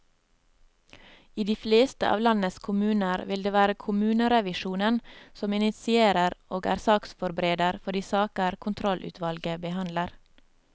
I de fleste av landets kommuner vil det være kommunerevisjonen som initierer og er saksforbereder for de saker kontrollutvalget behandler.